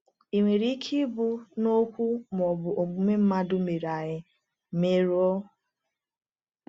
Ị̀ nwere ike ịbụ na okwu ma ọ bụ omume mmadụ mere anyị mmerụ?